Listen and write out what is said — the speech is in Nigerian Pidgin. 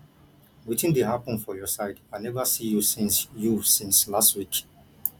wetin dey hapun for your side i neva see you since you since lastweek